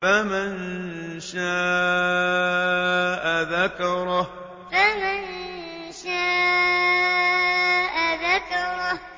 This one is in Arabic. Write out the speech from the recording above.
فَمَن شَاءَ ذَكَرَهُ فَمَن شَاءَ ذَكَرَهُ